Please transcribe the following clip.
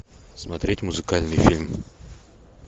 смотреть музыкальный фильм